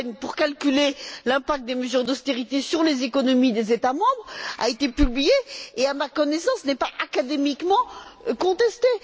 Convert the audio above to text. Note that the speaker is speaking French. Rehn pour calculer l'impact des mesures d'austérité sur les économies des États membres a été publié et, à ma connaissance, n'est pas académiquement contesté.